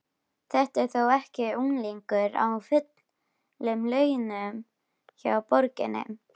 Þetta er þó ekki unglingur á fullum launum hjá borginni?